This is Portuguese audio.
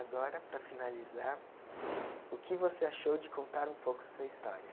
Agora, para finalizar, o que você achou de contar um pouco sua história?